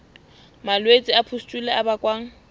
malwetse a pustule a bakwang